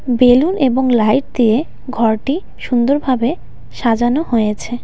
Balloon এবং light দিয়ে ঘরটি সুন্দরভাবে সাজানো হয়েছে.